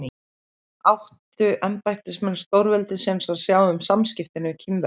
Áttu embættismenn stórveldisins að sjá um samskiptin við Kínverjana?